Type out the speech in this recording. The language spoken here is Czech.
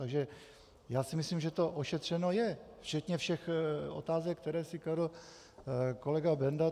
Takže já si myslím, že to ošetřeno je včetně všech otázek, které si kladl kolega Benda.